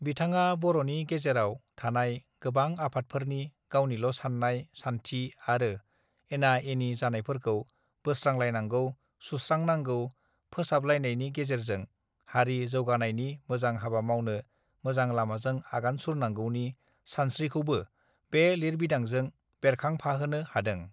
बिथाङा बर नि गेजेराव थानाय गोबां आफादफोरनि गावनिल साननाय सानथि आरो एना एनि जानायफोरखौ बोस्रांलायनांगौ सुस्रांनांगौ फोसाबलायनायनिे गेजेरजों हारि जौगानायनि मोजां हाबा मावनो मोजां लामाजों आगान सुरनांगौनि सानस्रिखौबो बे लिरबिदांजों बेरखांफाहोनो हादों